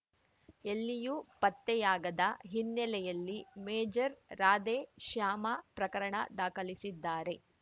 ಎಲ್ಲಿಯೂ ಪತ್ತೆಯಾಗದ ಹಿನ್ನೆಲೆಯಲ್ಲಿ ಮೇಜರ್ ರಾಧೆ ಶ್ಯಾಮ ಪ್ರಕರಣ ದಾಖಲಿಸಿದ್ದಾರೆ